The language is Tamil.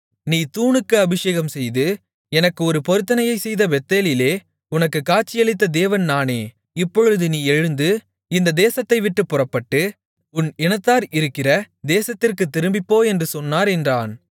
நீ தூணுக்கு அபிஷேகம் செய்து எனக்கு ஒரு பொருத்தனையைச் செய்த பெத்தேலிலே உனக்குக் காட்சியளித்த தேவன் நானே இப்பொழுது நீ எழுந்து இந்த தேசத்தைவிட்டுப் புறப்பட்டு உன் இனத்தார் இருக்கிற தேசத்திற்குத் திரும்பிப்போ என்று சொன்னார் என்றான்